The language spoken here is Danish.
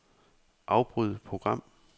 Afbryd program.